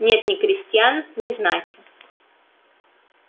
нет ни крестьян ни знати